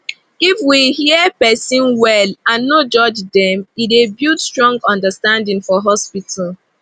if we hear person well and no judge dem e dey build strong understanding for hospital